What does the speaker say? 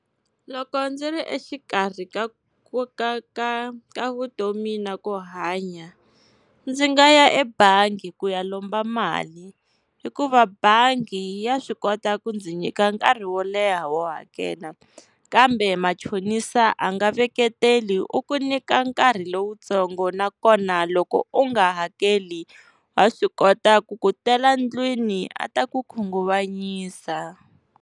Loko ndzi ri exikarhi ka ku ka ka ka vutomi na ku hanya, ndzi nga ya ebangi ku ya lomba mali, hikuva bangi ya swi kota ku ndzi nyika nkarhi wo leha wo hakela. Kambe machonisa a nga veketeli u ku nyika nkarhi lowutsongo nakona loko u nga hakeli wa swi kota ku ku tela ndlwini a ta ku khunguvanyisa.